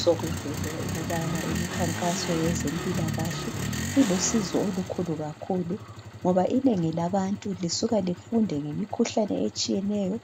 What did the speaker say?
Sokuvele ukubana imikhankaso yezempilakahle ilusizo olukhulu kakhulu ngoba inengi labantu lisuka lifunde ngemikhuhlane etshiyeneyo